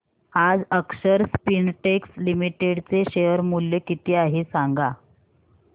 आज Akshar Spintex Limited चे share मूल्य किती आहे सांगा